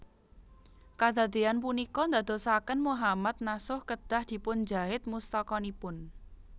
Kadadéyan punika ndadosaken Mohammad Nasuh kedah dipunjahit mustakanipun